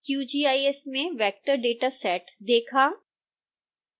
qgis में vector dataset देखा